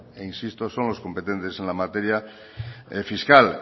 e insisto son los competentes en la materia fiscal